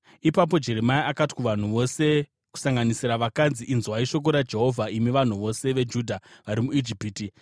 Ipapo Jeremia akati kuvanhu vose kusanganisira vakadzi, “Inzwai shoko raJehovha, imi vanhu vose veJudha vari muIjipiti.